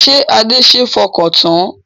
Ṣé Adé ṣe é fọkàn tán?